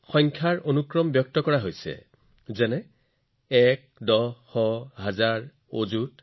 একং দশং শতং চৈব সহস্ৰম অযুতং তথা